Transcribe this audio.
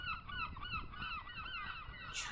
Elsku Thelma og Jói.